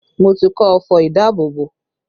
Mo ti kọ́ ọfọ̀ ìdábòbò